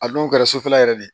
A n'o kɛra sufɛla yɛrɛ de ye